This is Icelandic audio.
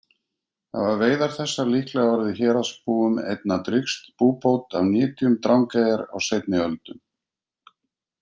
Hafa veiðar þessar líklega orðið héraðsbúum einna drýgst búbót af nytjum Drangeyjar á seinni öldum.